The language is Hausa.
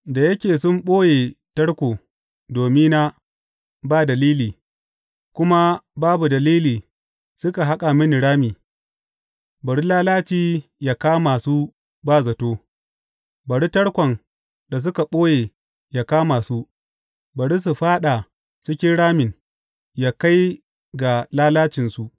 Da yake sun ɓoye tarko domina ba dalili kuma babu dalili suka haƙa mini rami, bari lalaci yă kama su ba zato, bari tarkon da suka ɓoye yă kama su, bari su fāɗa cikin ramin, yă kai ga lalacinsu.